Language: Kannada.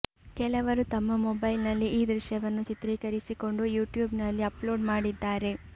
ಕೆಲವರು ತಮ್ಮ ಮೊಬೈಲ್ ನಲ್ಲಿ ಈ ದೃಶ್ಯವನ್ನು ಚಿತ್ರೀಕರಿಸಿಕೊಂಡು ಯುಟ್ಯೂಬ್ ನಲ್ಲಿ ಅಪ್ಲೋಡ್ ಮಾಡಿದ್ದಾರೆ